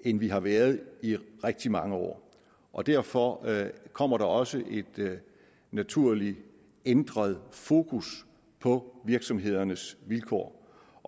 end vi har været i rigtig mange år og derfor kommer der også et naturligt ændret fokus på virksomhedernes vilkår